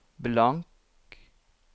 blank